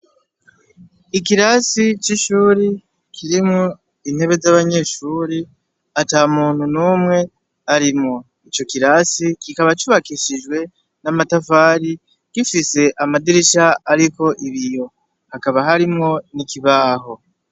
Ikirasi c'ishuri kirimwo intebe z'abanyeshuri ata muntu numwe arimwo ico kirasi kikaba cubakishijwe n'amatafari gifise amadirisha arimwo ibiyo hakaba harimwo n'ikibaho.